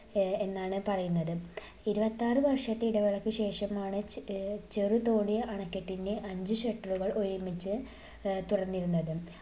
ഏർ എന്നാണ് പറയുന്നത്. ഇരുപത്തിയാറ് വർഷത്തെ ഇടവേളക്ക് ശേഷമാണ് ഏർ ചെറുതോണി അണക്കെട്ടിന്റെ അഞ്ച് shutter കൾ ഒരുമിച്ച് ഏർ തുറന്നിരുന്നത്.